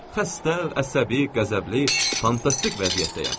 Xəstə, əsəbi, qəzəbli, fantastik vəziyyətdəyəm.